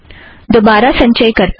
दोबारा संचय करते हैं